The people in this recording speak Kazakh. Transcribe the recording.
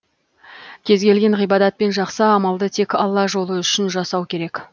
кез келген ғибадат пен жақсы амалды тек алла жолы үшін жасау керек